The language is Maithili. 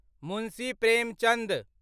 मुंशी प्रेमचन्द